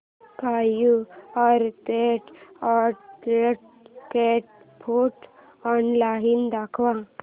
Purepet adult cat food online दाखव